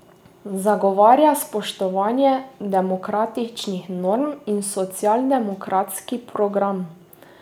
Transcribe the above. Zagovarja spoštovanje demokratičnih norm in socialdemokratski program.